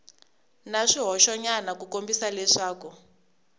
na swihoxonyana ku kombisa leswaku